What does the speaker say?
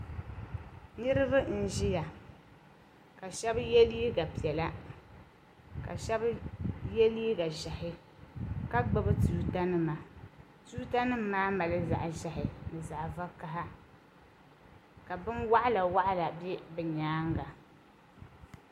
niriba n-ʒiya ka shɛba ye liiga piɛla ka shɛba ye liiga ʒɛhi ka gbubi tuuta nima tuuta nima maa mali zaɣ' ʒɛhi ni zaɣ' vakaha ka binwɔɣila wɔɣila be bɛ nyaaga.